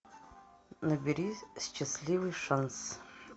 набери счастливый шанс